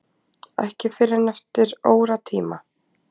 Ekki fyrr en eftir óratíma.